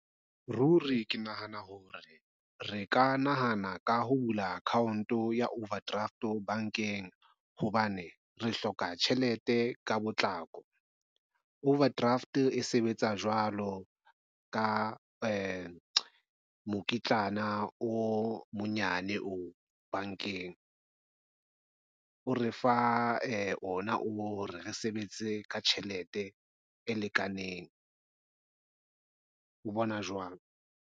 Ruri ke nahana hore re ka nahana ka ho bula account ya overdraft bankeng, hobane re hloka tjhelete ka potlako. Overdraft e sebetsa jwalo ka mokitlana o monyane o bankeng o re fa o na o hore re sebetse ka tjhelete e lekaneng. O bona jwang?